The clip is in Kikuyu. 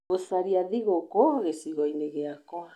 gũcaria thigũkũ gĩcigo-inĩ gĩakwa